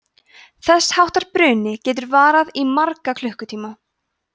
þess háttar bruni getur varað í marga klukkutíma